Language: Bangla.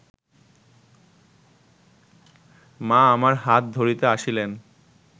মা আমার হাত ধরিতে আসিলেন